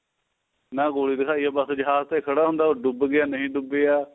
ਨਾ ਗੋਲੀ ਦਿਖਾਈ ਹੈ ਬਸ ਜਹਾਜ ਤੇ ਖੜਾ ਹੁੰਦਾ ਉਹ ਡੁੱਬ ਗਿਆ ਨਹੀਂ ਡੁੱਬਿਆ